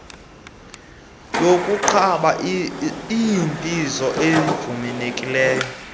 yokuqaba iinzipho ayivumelekanga